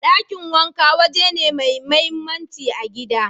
Dakin wanka waje ne mai mahimmanci a gida.